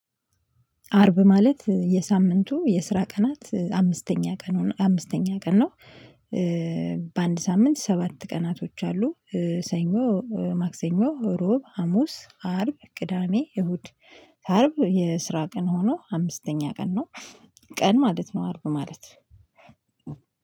አርብ ማለት የሳምንቱ የስራ ቀናት አምስተኛ ቀን ነው አምስተኛ ቀን ነው። በአንድ ሳምንት ሰባት ቀናቶች አሉ። ሰኞ ማክሰኞ ሮብ ሀሙስ አርብ ቅዳሜ እሁድ። አርብ የስራ ቀን ሆኖ አምስተኛ ቀን ነው። ቀን ማለት ነው አርብ ማለት